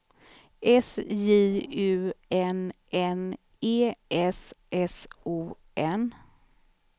S J U N N E S S O N